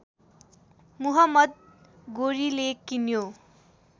मुहम्मद गोरीले किन्यो